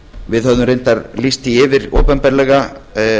við höfum reyndar lýst því yfir opinberlega